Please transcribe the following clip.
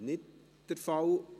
– Dies ist nicht der Fall.